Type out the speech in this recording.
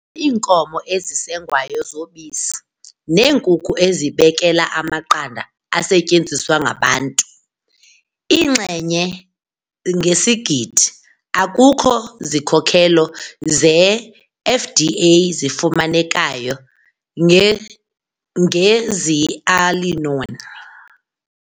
iinkomo ezisengwayo zobisi neenkuku ezibekela amaqanda asetyenziswa ngabantu, iinxenye ngesigidi. Akukho zikhokelo zeFDA zifumanekayo nge ngeZearalenone